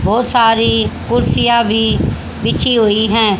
बहोत सारी कुर्सिया भी बिछी हुई है।